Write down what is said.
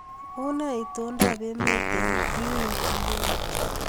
Unee itondoab emet eng Newyork nguni?